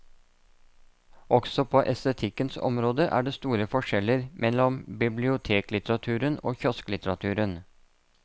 Også på estetikkens område er det store forskjeller mellom biblioteklitteraturen og kiosklitteraturen.